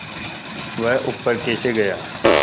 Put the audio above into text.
वह ऊपर कैसे गया